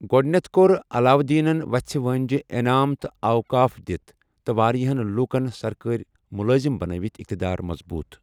گۄڈَنٮ۪تھ کوٚر علاؤالدینن وَژھِ وٲنٛجہِ انعام تہٕ اوقاف دِتھ تہٕ واریاہن لوکن سرکٲرۍ مُلٲزِم بنٲوِتھ اِقتِدار مضبوط ۔